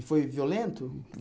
E foi violento?